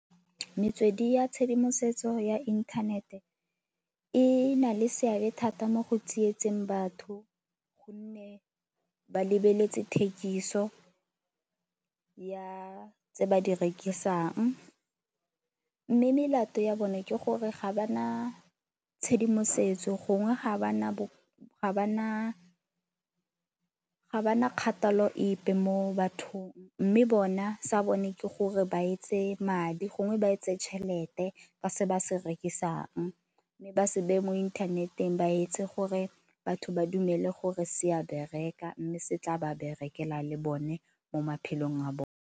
Metswedi ya tshedimosetso ya inthanete e na le seabe thata mo go tsietseng batho gonne ba lebeletse thekiso ya tse ba di rekisang. Mme melato ya bone ke gore ga ba na tshedimosetso gongwe ga ba na, ga ba na kgathalo epe mo bathong. Mme bona sa bone ke gore ba etse madi gongwe ba etse tšhelete ka se ba se rekisang mme ba se beye mo inthaneteng ba etse gore batho ba dumele gore se a bereka, mme se tla ba berekela le bone mo maphelong a bone.